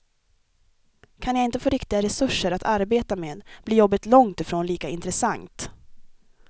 Kan jag inte få riktiga resurser att arbeta med blir jobbet långt ifrån lika intressant.